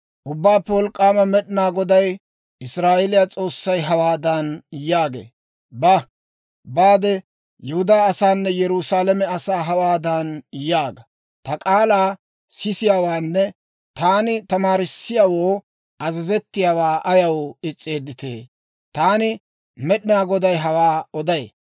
Ubbaappe Wolk'k'aama Med'inaa Goday, Israa'eeliyaa S'oossay hawaadan yaagee; «Ba; baade Yihudaa asaanne Yerusaalame asaa hawaadan yaaga; ‹Ta k'aalaa sisiyaawaanne taani tamaarisseeddawoo azazettiyaawaa ayaw is's'eedditee? Taani Med'inaa Goday hawaa oday.